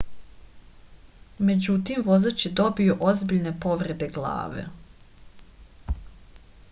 međutim vozač je zadobio ozbiljne povrede glave